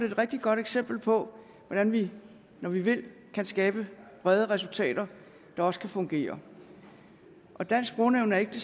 et rigtig godt eksempel på hvordan vi når vi vil kan skabe brede resultater der også kan fungere dansk sprognævn er ikke